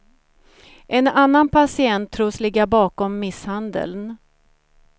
En annan patient tros ligga bakom misshandeln.